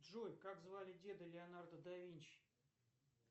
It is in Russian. джой как звали деда леонардо да винчи